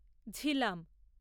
Jhelum